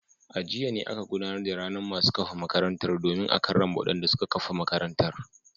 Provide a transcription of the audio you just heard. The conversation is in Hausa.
A jiya ne aka gudanar da ranar masu kafa makarantar domin karrama wadanda suka kafa makarantar.